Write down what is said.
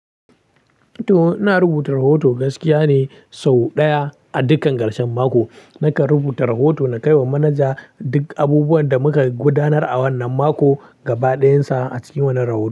To ina rubuta rahoto gaskiya ne sau ɗaya a dukkan karshen mako. Nakan rubuta rahoto na kai wa manaja duk abubuwan da muka gudanar a wannan mako gaba ɗayansa a cikin wannan rahoto.